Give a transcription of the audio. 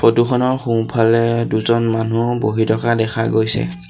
ফটোখনৰ সোঁফালে দুজন মানুহ বহি থকা দেখা গৈছে।